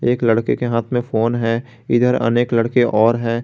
एक लड़के के हाथ में फोन है इधर अनेक लड़के और हैं।